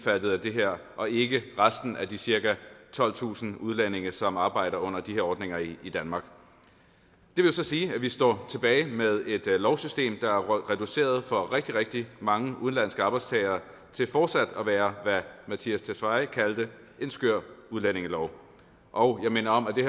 af det her og ikke resten af de cirka tolvtusind udlændinge som arbejder under de her ordninger i i danmark det vil så sige at vi står tilbage med et lovsystem der er reduceret for rigtig rigtig mange udenlandske arbejdstagere til fortsat at være hvad herre mattias tesfaye kaldte en skør udlændingelov og jeg minder om at det